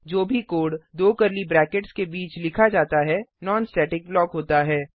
जो भी कोड दो कर्ली ब्रैकेट्स के बीच लिखा जाता है नॉन स्टेटिक ब्लॉक होता है